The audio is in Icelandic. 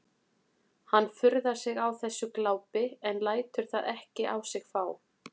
Hann furðar sig á þessu glápi en lætur það ekki á sig fá.